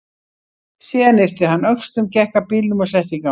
Síðan yppti hann öxlum, gekk að bílnum og setti í gang.